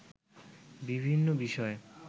বিভিন্ন বিষয়ে